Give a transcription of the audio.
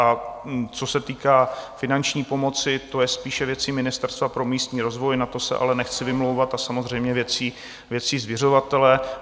A co se týká finanční pomoci, to je spíše věcí Ministerstva pro místní rozvoj, na to se ale nechci vymlouvat, a samozřejmě věcí zřizovatele.